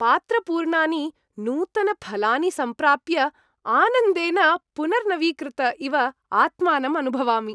पात्रपूर्णानि नूतनफलानि सम्प्राप्य आनन्देन पुनर्नवीकृत इव आत्मानम् अनुभवामि।